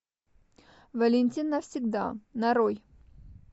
валентин навсегда нарой